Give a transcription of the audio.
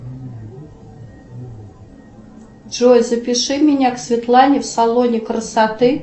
джой запиши меня к светлане в салоне красоты